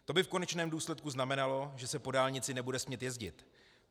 To by v konečném důsledku znamenalo, že se po dálnici nebude smět jezdit.